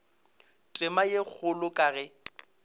tema ye kgolo ka ge